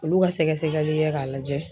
Olu ka sɛgɛsɛgɛli kɛ k'a lajɛ